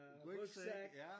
Rygsæk ja!